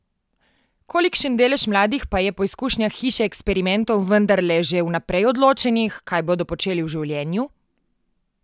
Kolikšen delež mladih pa je po izkušnjah Hiše eksperimentov vendarle že vnaprej odločenih, kaj bodo počeli v življenju?